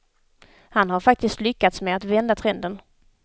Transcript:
Han har faktiskt lyckats med att vända trenden.